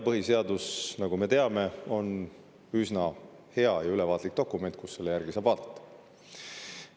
Põhiseadus, nagu me teame, on üsna hea ja ülevaatlik dokument, kust saab seda järele vaadata.